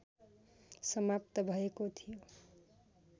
समाप्त भएको थियो